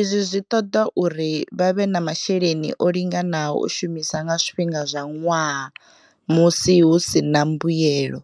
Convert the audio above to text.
izwo zwi ṱoḓa uri vha vhe na mashele ni o linganaho u shumisa nga zwifhinga zwa ṅwaha musi hu si na mbuelo.